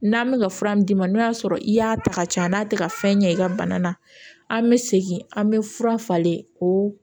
N'an bɛ ka fura min d'i ma n'o y'a sɔrɔ i y'a ta ka ci a n'a tɛ ka fɛn ɲɛ i ka bana na an bɛ segin an bɛ fura falen ko